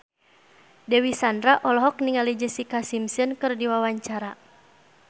Dewi Sandra olohok ningali Jessica Simpson keur diwawancara